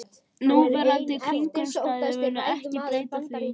Núverandi kringumstæður munu ekki breyta því